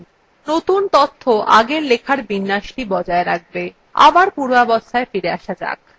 নতুন তথ্য আগের লেখার বিন্যাসটি বজায় রাখবে